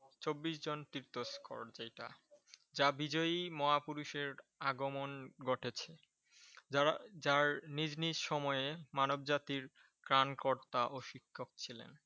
চব্বিশ জন তীর্থ স্পট যেটা যা বিজয়ী মহাপুরুষের আগমন ঘটেছে। যারা যার নিজ নিজ সময়ে মানবজাতির ত্রাণকর্তা ও শিক্ষক ছিলেন।